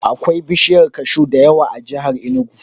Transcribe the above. Akwai bishiyar kashu da yawa a jihar Inugu.